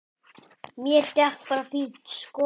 Mér gekk bara fínt sko.